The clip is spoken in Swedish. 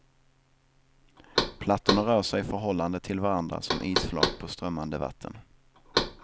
Plattorna rör sig i förhållande till varandra som isflak på strömmande vatten.